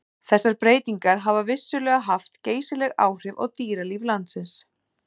Þessar breytingar hafa vissulega haft geysileg áhrif á dýralíf landsins.